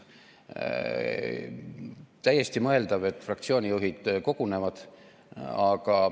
Täiesti mõeldav, et fraktsioonijuhid kogunevad.